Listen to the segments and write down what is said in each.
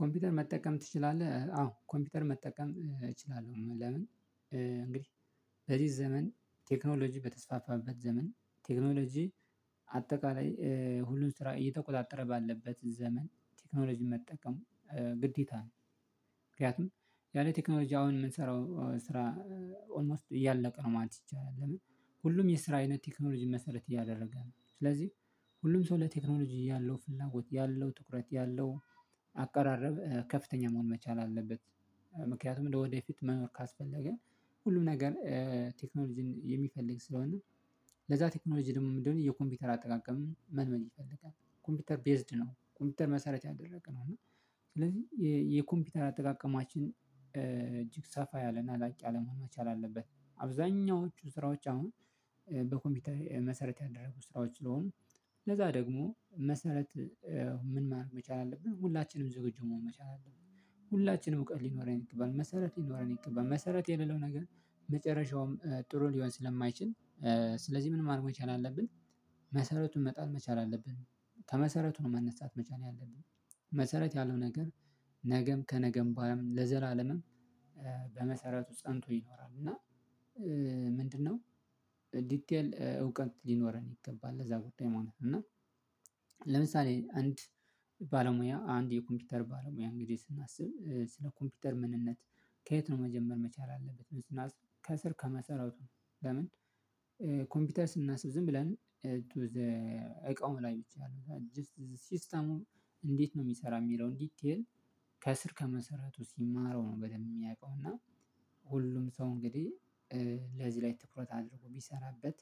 ኮምፒውተር መጠቀም ትችላለህ? አዎ ኮምፒውተር መጠቀም እችላለሁ። ለምን እንግዲህ በዚህ ዘመን ቴክኖሎጂ በተስፋፋበት ዘመን ቴክኖሎጂ አጠቃላይ ሁሉን ስራ እየተቆጣጠረ ባለበት ዘመን ቴክኖሎጂ መጠቀም ግዴታ ነው። ምክንያቱም ያለ ቴክኖሎጂ አሁን ምንሰራው ስራ ኦልሞስት እያለቀ ነው ማለት ይቻላል። ለምን ሁሉም የስራ አይነት ቴክኖሎጂን መሰረት እያደረገ ነው። ስለዚህ ሁሉም ሰው ለቴክኖሎጂ ያለው ፍላጎት ያለው ትኩረት ያለው አቃራረብ ከፍተኛ መሆን መቻል አለበት። ምክንያቱም ለወደፊት መኖር ካስፈለገ ሁሉም ነገር ቴክኖሎጂን የሚፈልግ ስለሆነ ለዛ ቴክኖሎጂ ደግሞ ምንድነው የኮምፒውተር አጠቃቀምን መልመድ ይፈልጋል። ኮምፒውተር ቤዝድ ነው። ኮምፒውተር መሰረት ያደረገ ነው። እና ስለዚህ የኮምፒውተር አጠቃቀማችን እጅግ ሰፋ ያለና ላቅ ያለ መሆን መቻል አለበት። አብዛኛዎቹ ስራዎች አሁን በኮምፒውተር መሰረት ያደረጉ ስራዎች ስለሆኑ ለዛ ደግሞ መሰረት ምን መቻል አለብን። ሁላችንም ዝግጁ መሆን መቻል አለብን። ሁላችንም እውቀት ሊኖረን ይገባል። መሰረት ሊኖረን ይገባል። መሰረት የሌለው ነገር መጨረሻውም ጥሩ ሊሆን ስለማይችል ስለዚህ ምን ማድረግ መቻል አለብን? መሰረቱን መጣል መቻል አለብን። ከመሰረቱ ነው መነሳት መቻል ያለብን። መሰረት ያለው ነገር ነገም ከነገም በኋላም ለዘለዓለምም በመሰረቱ ፀንቶ ይኖራል እና ምንድነው? ዲቴል እውቀት ሊኖረን ይገባል ለዛ ጉዳይ ማለት ነው። እና ለምሳሌ አንድ ባለሙያ አንድ የኮምፒውተር ባለሙያ እንግዲህ ስናስብ ስለ ኮምፒውተር ምንነት ከየት ነው መጀመር መቻል ያለበት ብለን ስናስብ ከስር ከመሰረቱ። ለምን? ኮምፒውተር ስናስብ ዝም ብለን ቱ ዘ እቃው ላይ ብቻ ነው። ጀስት ሲስተሙ እንዴት ነው ሚሰራ? ሚለውን ዲቴል ከስር ከመሰረቱ ሲማረው ነው በደንብ ሚያውቀው። እና ሁሉም ሰው እንግዲህ ለዚህ ላይ ትኩረት አድርጎ ቢሰራበት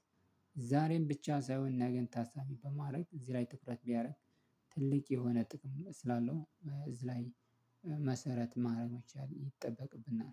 ዛሬን ብቻ ሳይሆን ነገን ታሳቢ በማረግ እዚህ ላይ ትኩረት ቢያረግ ትልቅ የሆነ ጥቅም ስላለው እዚህ ላይ መሰረት ማረግ መቻል ይጠበቅብናል።